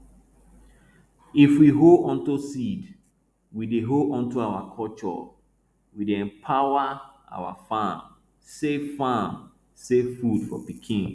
if we hold onto seed we dey hold onto our culture we dey empower our farm save farm save food for pikin